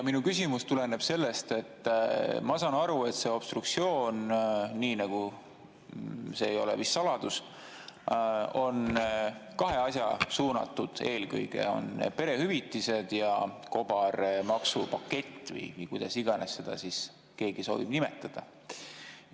Minu küsimus tuleneb sellest, et ma saan aru, et see obstruktsioon – see ei ole vist saladus – on eelkõige kahe asja suunatud, need on perehüvitiste ja kobarmaksupakett või kuidas iganes keegi seda soovib nimetada.